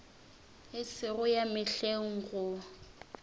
e sego ya mehleng go